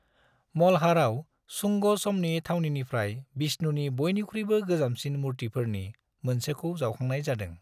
मल्हाराव शुंग समनि थावनिनिफ्राय विष्णुनि बयनिख्रुयबो गोजामसिन मूर्तिफोरनि मोनसेखौ जावखांनाय जादों।